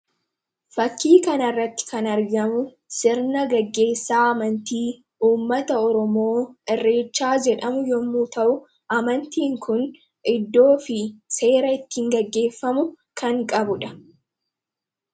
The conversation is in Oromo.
Fakkii kanarratti kana argamu sirna gaggeessaa amantii uummata oromoo irreechaa jedhamu yommuu ta'u, amantiin kun iddoo fi seera ittiin gaggeeffamu kan qabudha.